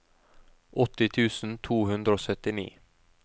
åtti tusen to hundre og syttini